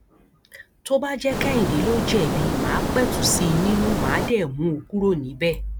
tó bá jẹ kehinde ló jẹbi má a pẹtù sí i nínú má a dé mú un kúrò níbẹ